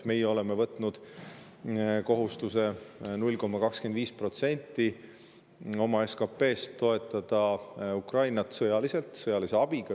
Meie oleme võtnud kohustuse 0,25%‑ga oma SKP‑st toetada Ukrainat sõjaliselt, sõjalise abiga.